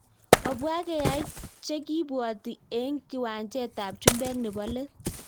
Obwa keai chekibwati eng kiwanjanep chumbek nepo let